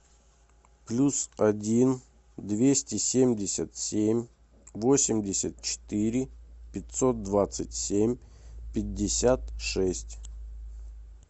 плюс один двести семьдесят семь восемьдесят четыре пятьсот двадцать семь пятьдесят шесть